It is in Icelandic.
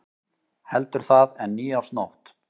Heldur það en nýársnótt.